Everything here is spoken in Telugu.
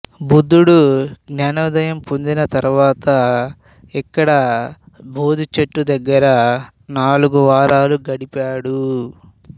బుద్ధుడు జ్ఞానోదయం పొందిన తరువాత ఇక్కడ బోధి చెట్టు దగ్గర నాలుగు వారాలు గడిపాడు